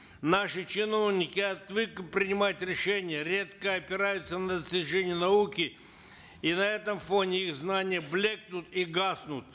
наши чиновники отвыкли принимать решения редко опираются на достижения науки и на этом фоне их знания блекнут и гаснут